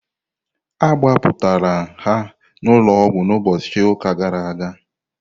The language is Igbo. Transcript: Agbapụrmtara ha n'ụlọọgwụ n'ụbọchị ụka gara aga.